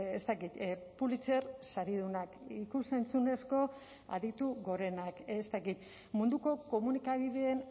ez dakit pulitzer saridunak ikus entzunezko aditu gorenak ez dakit munduko komunikabideen